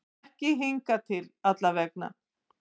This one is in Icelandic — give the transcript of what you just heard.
Ekki hingað til allavega.